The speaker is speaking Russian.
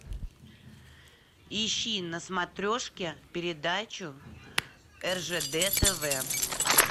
ищи на смотрешке передачу ржд тв